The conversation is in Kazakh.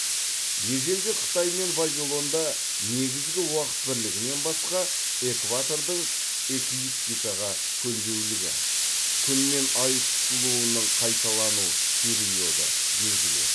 ежелгі қытай мен вавилонда негізгі уақыт бірлігінен басқа экватордың эклиптикаға көлбеулігі күн мен ай тұтылуының қайталану периоды белгілі еді